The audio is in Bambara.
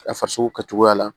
A farisoko kɛcogoya la